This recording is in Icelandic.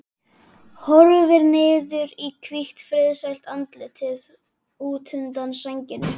Horfir niður í hvítt, friðsælt andlitið útundan sænginni.